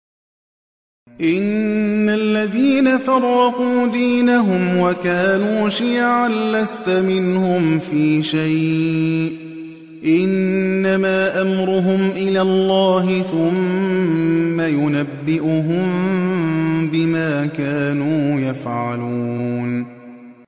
إِنَّ الَّذِينَ فَرَّقُوا دِينَهُمْ وَكَانُوا شِيَعًا لَّسْتَ مِنْهُمْ فِي شَيْءٍ ۚ إِنَّمَا أَمْرُهُمْ إِلَى اللَّهِ ثُمَّ يُنَبِّئُهُم بِمَا كَانُوا يَفْعَلُونَ